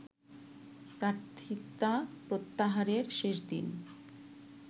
প্রার্থিতা প্রত্যাহারের শেষ দিন